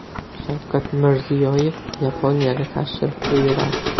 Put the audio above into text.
Shavkat Mirziyoyev Yaponiyaga tashrif buyuradi.